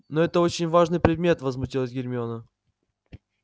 но это очень важный предмет возмутилась гермиона